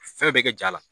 Fɛn bɛɛ kɛ ja la